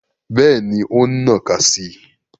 Bẹ́ẹ̀ni, o n nnaka si i